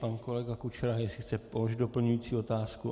Pan kolega Kučera jestli chce položit doplňující otázku.